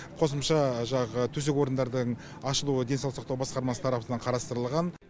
қосымша жаңағы төсек орындардың ашылуы денсаулық сақтау басқармасы тарапынан қарастырылған